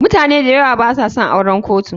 mutane dayawa basa son auren kotu.